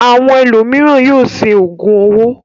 Àwọn ẹlòmíràn yóò ṣe òògùn owó.